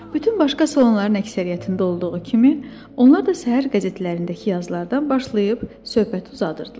Bütün başqa salonların əksəriyyətində olduğu kimi, onlar da səhər qəzetlərindəki yazılardan başlayıb söhbəti uzadırdılar.